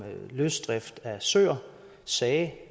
løsdrift af søer sagde